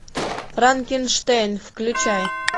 франкенштейн включай